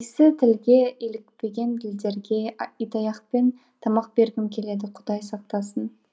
исі тілге илікпеген тілдерге итаяқпен тамақ бергім келеді құдай сақтасын